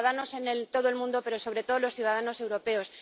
los ciudadanos de todo el mundo, pero, sobre todo, los ciudadanos europeos.